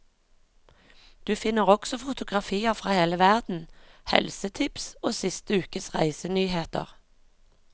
Du finner også fotografier fra hele verden, helsetips og siste ukes reisenyheter.